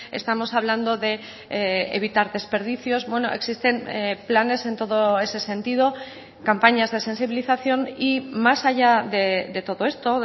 estamos hablando de evitar desperdicios bueno existen planes en todo ese sentido campañas de sensibilización y más allá de todo esto